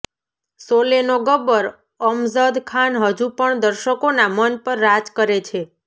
શોલેનો ગબ્બર અમજદ ખાન હજુ પણ દર્શકોના મન પર રાજ કરે છે